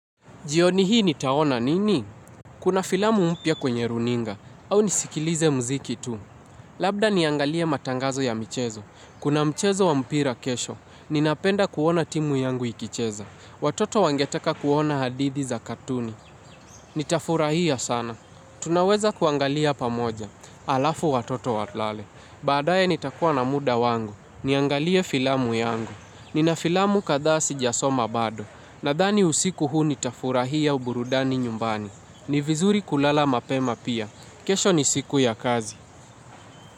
Jioni hii nitaona nini? Kuna filamu mpya kwenye runinga. Au nisikilize mziki tu. Labda niangalie matangazo ya michezo. Kuna mchezo wa mpira kesho. Ninapenda kuona timu yangu ikicheza. Watoto wangeteka kuona hadithi za katuni. Nitafurahia sana. Tunaweza kuangalia pamoja. Halafu watoto walale. Baadaye nitakuwa na muda wangu. Niangalie filamu yangu. Nina filamu kadhaa sijasoma bado. Nadhani usiku huu nitafurahia uburudani nyumbani. Ni vizuri kulala mapema pia. Kesho ni siku ya kazi.